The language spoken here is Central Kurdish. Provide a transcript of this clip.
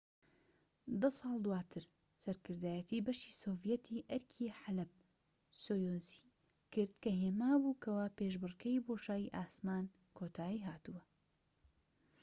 دە ساڵ دواتر سەرکردایەتی بەشی سۆڤیەتی ئەرکی حەلەب-سۆیوزی کرد کە هێما بوو کەوا پێشبڕکێی بۆشایی ئاسمان کۆتای هاتووە